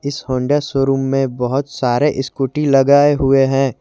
इस Honda showroom में बहुत सारे स्कूटी लगाए हुए हैं।